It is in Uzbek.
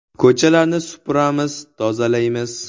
Ko‘chalarni supuramiz, tozalaymiz.